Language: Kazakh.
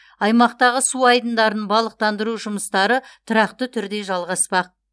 аймақтағы су айдындарын балықтандыру жұмыстары тұрақты түрде жалғаспақ